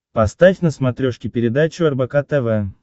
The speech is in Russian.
поставь на смотрешке передачу рбк тв